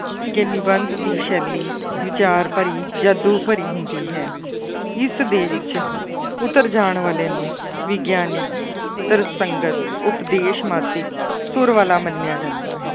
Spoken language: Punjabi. ਕਿ ਨਿਬੰਧ ਦੀ ਸ਼ੈਲੀ ਵਿਚਾਰ ਭਰੀ, ਜਾਦੂ ਭਰੀ ਹੁੰਦੀ ਹੈ ਇਸ ਦੇ ਵਿੱਚ ਉੱਤਰ ਜਾਣ ਵਾਲੇ ਨੂੰ ਵਿਗਿਆਨੀ, ਤਰਸੰਗਤ, ਉਪਦੇਸ਼ ਸੁਰ ਵਾਲਾ ਮੰਨਿਆ ਜਾਂਦਾ ਹੈ,